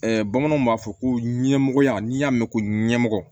bamananw b'a fɔ ko ɲɛmɔgɔya n'i y'a mɛn ko ɲɛmɔgɔ